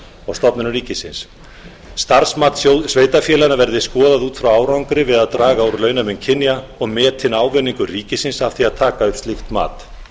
og stofnunum ríkisins starfsmat sveitarfélaganna verði skoðað út frá árangri við að draga úr launamun kynja og metinn ávinningur ríkisins af því að taka upp slíkt mat